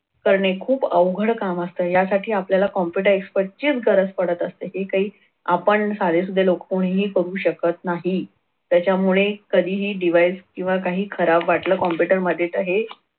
करणे खूप अवघड काम असतं. यासाठी आपल्याला computer expert चीच गरज पडत असते ठीक आहे आपण साधेसुधे लोक कोणीही करू शकत नाही. त्याच्यामुळे कधीही device किंवा काही खराब वाटलं computer मध्ये तर हे